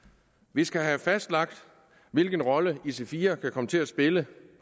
vi skal have fastlagt hvilken rolle ic4 kan komme til at spille